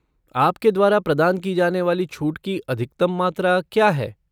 आपके द्वारा प्रदान की जाने वाली छूट की अधिकतम मात्रा क्या है?